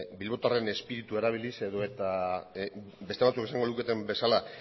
bilbotarren izpiritua erabiliz edota beste batzuk esango luketen bezala